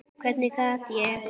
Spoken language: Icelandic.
Hvernig gat ég.